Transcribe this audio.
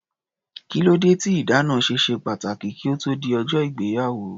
Kílódé tí ìdáná ṣe ṣe pàtàkì kí ó tó di ọjọ́ ìgbéyàwó?